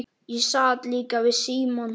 Ég sat líka við símann.